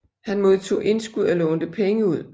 Han modtog indskud og lånte penge ud